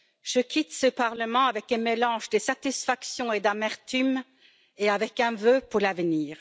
Je quitte ce Parlement avec un mélange de satisfaction et d'amertume et avec un vœu pour l'avenir.